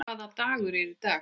Hvaða dagur er í dag?